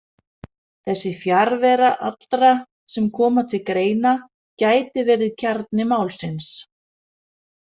Þessi fjarvera allra sem koma til greina gæti verið kjarni málsins.